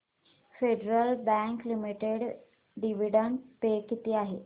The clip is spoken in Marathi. federal Bank Limited dividend pay किती आहे